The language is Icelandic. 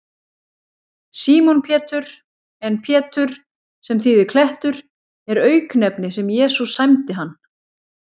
Símon Pétur, en Pétur, sem þýðir klettur, er auknefni sem Jesús sæmdi hann.